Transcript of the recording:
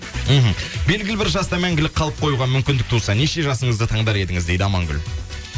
мхм белгілі бір жаста мәңгілік қалып қоюға мүмкіндік туса неше жасыңызды таңдар едіңіз дейді амангүл